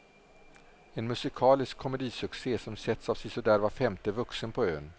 En musikalisk komedisuccé som setts av sisådär var femte vuxen på ön.